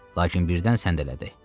Lakin birdən səndələdi.